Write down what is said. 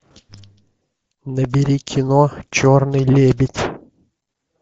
набери кино черный лебедь